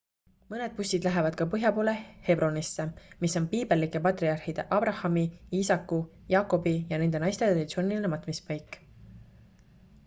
mõned bussid lähevad ka põhjapoole hebronisse mis on piibellike patriarhide aabrahami iisaku jaakobi ja nende naiste traditsiooniline matmispaik